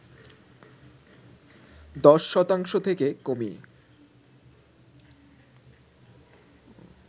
১০ শতাংশ থেকে কমিয়ে